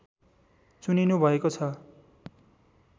चुनिनुभएको छ